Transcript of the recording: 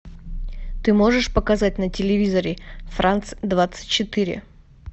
ты можешь показать на телевизоре франс двадцать четыре